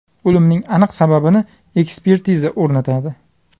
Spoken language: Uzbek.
O‘limning aniq sababini ekspertiza o‘rnatadi.